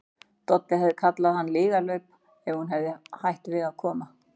Doddi hefði kallað hann lygalaup ef hún hefði hætt við að koma.